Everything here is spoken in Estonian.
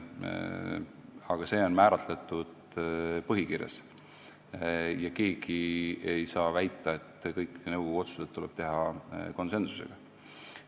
Aga see on kindlaks määratud põhikirjas ja keegi ei saa väita, et kõik nõukogu otsused tuleb teha konsensuslikult.